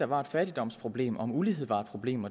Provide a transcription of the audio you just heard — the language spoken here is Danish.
var et fattigdomsproblem og om ulighed var et problem